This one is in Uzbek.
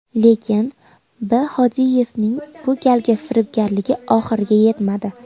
Lekin B. Hodiyevning bu galgi firibgarligi oxiriga yetmadi.